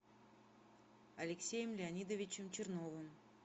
алексеем леонидовичем черновым